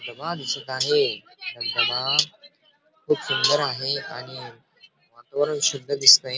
धबधबा दिसत आहे धबधबा खूप सुंदर आहे आणि वातावरण शुद्ध दिसतंय.